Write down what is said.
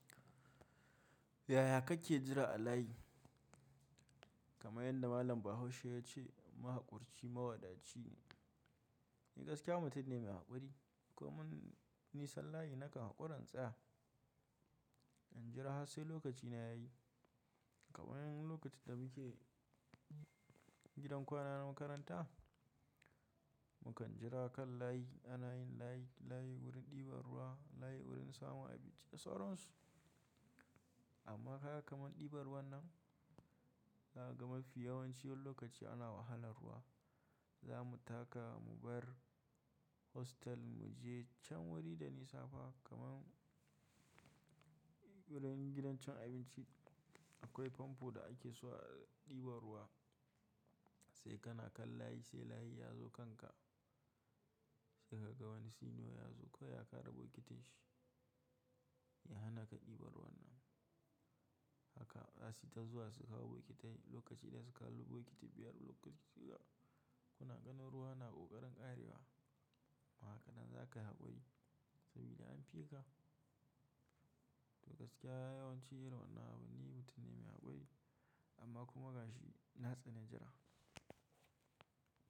Yaya kake jira a layi? Kamar yanda Malam Bahaushe ya ce mahaƙurci mawadaci ne. Ni gaskiya mutum ne mai haƙuri komun nisan layi nakan haƙura in tsaya. In jira har sai lokaci na yayi. Kamar yanzu lokacin da muke gidan kwana na makaranta, mukan jira kan layi a layin layi, layi wurin ɗiban ruwa, layi wurin samun abinci da sauran su. Amma kaga kamar ɗiban ruwan nan, na gama fi yawancin lokaci ana wahalar ruwa. Za mu taka mu bar hostel mu je can wuri da nisa fa kamar wurin gidan cin abinci akwai famfo da ake so a ɗiba ruwa sai kana kan layi sai layi ya zo kanka sai ka ga wani senior ya zo kawai ya kara bokitin shi ya hana ka ɗiban ruwan nan. Haka zasi ta zuwa suka hau bokitai lokaci da suka kalo bokiti biyar lokacin da kuna ganin ruwa ana ƙoƙarin ƙarewa. Ma hakanan za ka yi haƙuri sabida an fi ka. To gaskiya yawancin irin wannan abun ni mutun ne mai haƙuri amma kuma gashi na tsani jira.